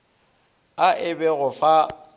a e be go fa